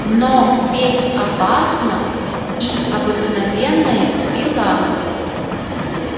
но ведь опасна и обыкновенная пила